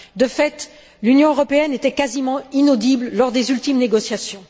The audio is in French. De fait, l'Union européenne était quasiment inaudible lors des ultimes négociations.